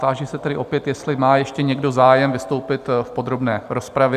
Táži se tedy opět, jestli má ještě někdo zájem vystoupit v podrobné rozpravě?